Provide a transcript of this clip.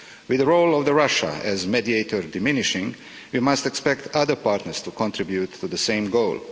With the role of Russia as mediator diminishing, we must expect other partners to contribute to the same goal.